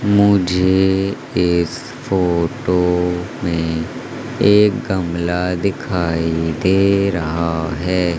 मुझे इस फोटो में एक गमला दिखाई दे रहा है।